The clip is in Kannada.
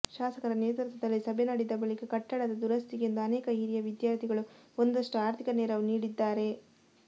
ಶಾಸಕರ ನೇತೃತ್ವದಲ್ಲಿ ಸಭೆ ನಡೆದ ಬಳಿಕ ಕಟ್ಟಡದ ದುರಸ್ತಿಗೆಂದು ಅನೇಕ ಹಿರಿಯ ವಿದಾರ್ಥಿಗಳು ಒಂದಷ್ಟು ಆರ್ಥಿಕ ನೆರವು ನೀಡಿದ್ದಾರೆ